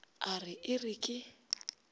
a re e re ke